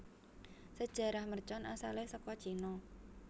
Sejarah mercon asalé saka Cina